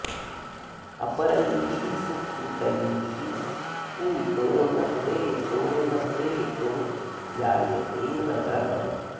अपरैः सुकृतैः पूतो न प्रेतो न प्रेतो जायते नरः